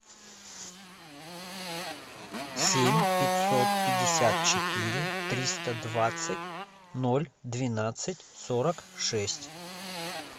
семь пятьсот пятьдесят четыре триста двадцать ноль двенадцать сорок шесть